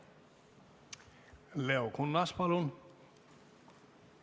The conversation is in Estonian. Leo Kunnas, palun!